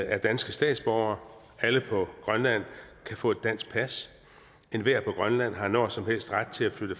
er danske statsborgere og alle på grønland kan få et dansk pas enhver på grønland har når som helst ret til at flytte